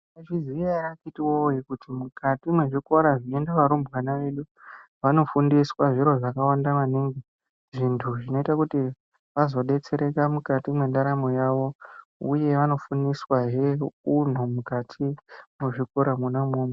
Maizviziya ere akiti woye kuti mukati me zvikora zvinoenda varumbwana vedu vano fundiswa zviro zvakawanda maningi zvintu zvinoita kuti vazo detsereka mukati mwe ndaramo yavo uye vano fundiswa hee unhu mukati mwe zvikora mwona imwomwo.